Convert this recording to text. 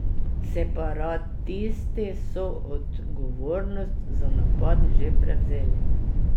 Separatisti so odgovornost za napad že prevzeli.